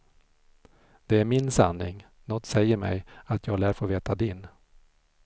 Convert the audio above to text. Det är min sanning, något säger mig att jag lär få veta din.